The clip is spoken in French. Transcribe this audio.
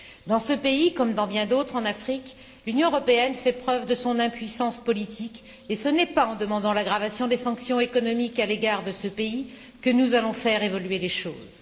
Dans ce pays, comme dans bien d'autres en Afrique, l'Union européenne fait preuve de son impuissance politique et ce n'est pas en demandant l'aggravation des sanctions économiques à l'égard de ce pays que nous allons faire évoluer les choses.